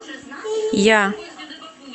я